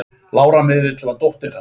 Lára miðill var dóttir hans.